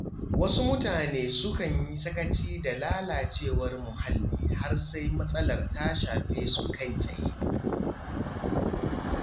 Wasu mutane sukan yi sakaci da lalacewar muhalli har sai matsalar ta shafe su kai tsaye.